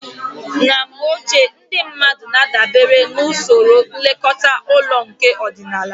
Na mgbe ochie, ndị mmadụ na-adabere na usoro nlekọta ụlọ nke ọdịnala